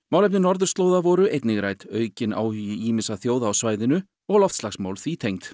málefni norðurslóða voru einnig rædd aukinn áhugi ýmissa þjóða á svæðinu og loftslagsmál því tengd